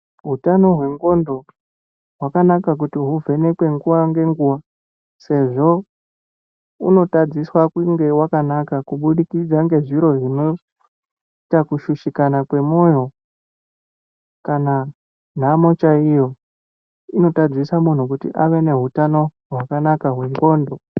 Utano hwenxlondo hwakanaka kuti huvhenekwe nguwa ngenguwa sezvo unotadziswa kunge wakanaka kubudikidza ngezviro zvinoita kushushikana kwemoyo kana nhamo chaiyo inotadzisa munhu kuti ave nehutano hwakanaka hwenxlondo.